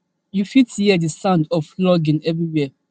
you fit hear di sound of flogging everywhere